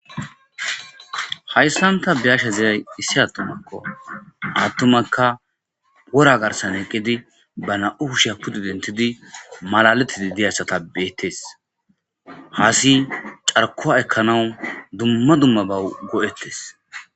Hayssanta biyasha ziyay issi attumakko attumakka pora garsan eqqidi ba na7u u shapudi dentidi malaletidi deyassatabbeettes haasi carkoa ekkanawu dumma dumma ba go7ettes